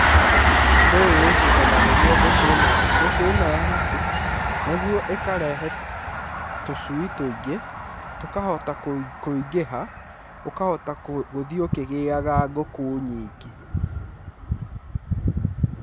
Ũndũ ũyũ wĩkĩkaga nĩguo ngũkũ ĩno yaku, nĩguo ĩkarehe tũcui tũingĩ, tũkahota kũingĩha, ũkahota gũthiĩ ũkĩgĩaga ngũkũ nyingĩ.